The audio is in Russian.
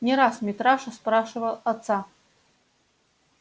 не раз митраша спрашивал отца